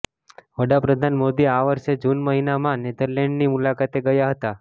વડાપ્રધાન મોદી આ વર્ષે જૂન મહિનામાં નેધરલેન્ડ્સની મુલાકાતે ગયા હતા